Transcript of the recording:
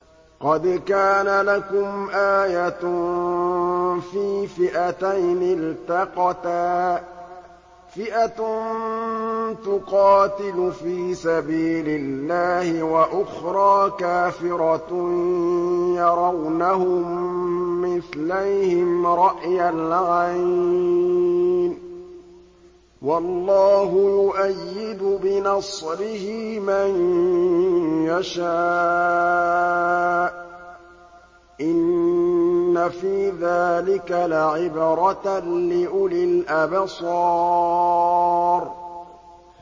قَدْ كَانَ لَكُمْ آيَةٌ فِي فِئَتَيْنِ الْتَقَتَا ۖ فِئَةٌ تُقَاتِلُ فِي سَبِيلِ اللَّهِ وَأُخْرَىٰ كَافِرَةٌ يَرَوْنَهُم مِّثْلَيْهِمْ رَأْيَ الْعَيْنِ ۚ وَاللَّهُ يُؤَيِّدُ بِنَصْرِهِ مَن يَشَاءُ ۗ إِنَّ فِي ذَٰلِكَ لَعِبْرَةً لِّأُولِي الْأَبْصَارِ